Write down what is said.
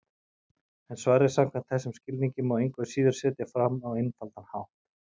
En svarið samkvæmt þessum skilningi má engu að síður setja fram á einfaldan hátt: